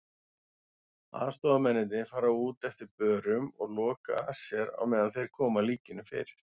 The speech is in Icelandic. Aðstoðarmennirnir fara út eftir börum og loka að sér á meðan þeir koma líkinu fyrir.